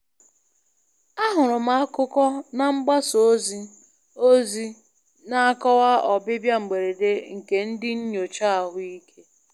Ahụrụ m akụkọ na mgbasa ozi ozi na-akọwa ọbịbịa mberede nke ndị nyocha ahụike.